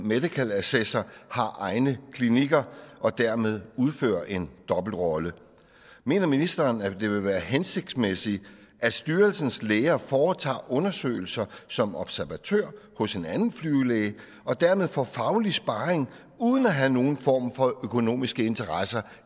medical assessor har egne klinikker og dermed udfører en dobbeltrolle mener ministeren at det vil være hensigtsmæssigt at styrelsens læger foretager undersøgelser som observatør hos en anden flyvelæge og dermed får faglig sparring uden at have nogen form for økonomiske interesser